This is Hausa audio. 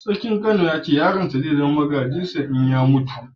Sarkin Kano ya ce yaron sa zai zama magajin sa idan ya mutu.